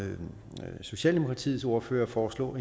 socialdemokratiets ordfører foreslog